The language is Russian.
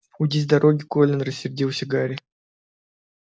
уйди с дороги колин рассердился гарри